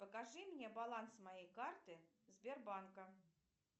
покажи мне баланс моей карты сбербанка